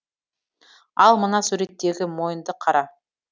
ал мына суреттегі мойынды қара